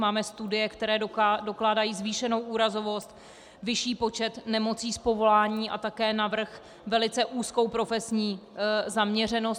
Máme studie, které dokládají zvýšenou úrazovost, vyšší počet nemocí z povolání a také navrch velice úzkou profesní zaměřenost.